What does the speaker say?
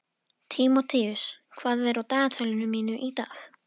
Tímoteus, hvað er á dagatalinu mínu í dag?